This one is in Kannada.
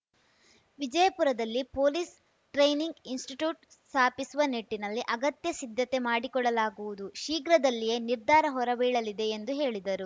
ವಿಜಯಪುರದಲ್ಲಿ ಪೊಲೀಸ್‌ ಟ್ರೈನಿಂಗ್‌ ಇನ್ಸ್‌ಸ್ಟಿಟ್ಯೂಟ್‌ ಸ್ಥಾಪಿಸುವ ನಿಟ್ಟಿನಲ್ಲಿ ಅಗತ್ಯ ಸಿದ್ಧತೆ ಮಾಡಿಕೊಡಲಾಗುವುದು ಶೀಘ್ರದಲ್ಲಿಯೇ ನಿರ್ಧಾರ ಹೊರಬೀಳಲಿದೆ ಎಂದು ಹೇಳಿದರು